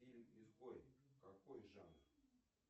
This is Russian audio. фильм изгой какой жанр